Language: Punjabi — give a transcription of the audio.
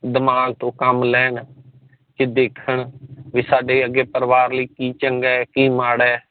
ਦਿਮਾਗ ਤੋਂ ਕੰਮ ਲੈਣ ਕਿ ਦੇਖਣ ਕਿ ਸਾਡੇ ਅੱਗੇ ਪਰਿਵਾਰ ਲਈ ਕਿ ਚੰਗਾ ਕਿ ਮਾੜਾ ਆ